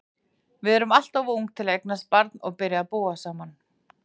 Við erum alltof ung til að eignast barn og byrja að búa saman.